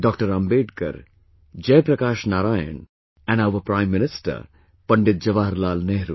Ambedkar, Jai Prakash Narayan and our Prime Minister Pandit Jawaharlal Nehru